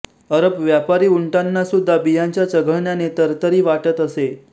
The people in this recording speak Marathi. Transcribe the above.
अरब व्यापारी उंटांनासुद्धा बियांच्या चघळण्याने तरतरी वाटत असे